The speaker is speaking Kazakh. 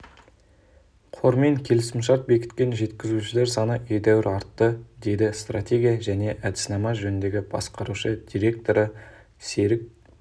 қормен келісімшарт бекіткен жеткізушілер саны едәуір артты деді стратегия және әдіснама жөніндегі басқарушы директоры серік